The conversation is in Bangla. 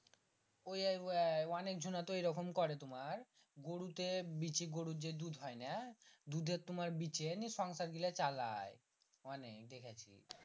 ওইয়াই ওইয়াই অনেক ঝুনা তো এরকম করে তোমার গরু তে বিচি গরুর যে দুধ হয় না দুধের তোমার বিচে নিয়ে সংসার গীলা চালায় অনেক দেখাচ্ছি